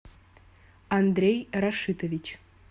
андрей рашитович